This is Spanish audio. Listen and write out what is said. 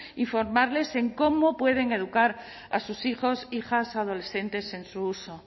y formarles en cómo pueden educar a sus hijos hijas adolescentes en su uso